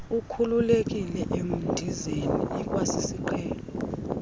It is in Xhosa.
ukhululekile emidizeni ikwasisiqhelo